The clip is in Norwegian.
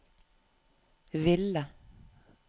ville